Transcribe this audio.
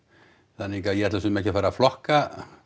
þannig að ég ætla svo sem ekki að fara að flokka